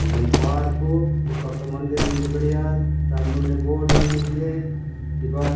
ईंधर्न पार्कों ये पका मंदिर मिन्दे बढ़िया तान मने बोड़ ऑन मिन्दे ई बाड --